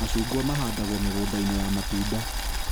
Macungwa mahandagwo mĩgũnda-inĩ ya matunda